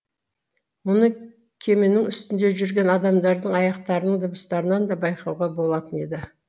мұны кеменің үстінде жүрген адамдардың аяқтарының дыбыстарынан да байқауға болатын еді